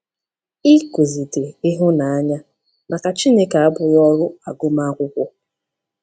ỊKỤZITE ịhụnanya maka Chineke abụghị ọrụ agụmakwụkwọ.